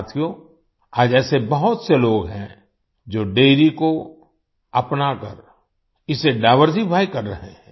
साथियो आज ऐसे बहुत से लोग हैं जो डैरी को अपना कर इसे डाइवर्सिफाई कर रहे हैं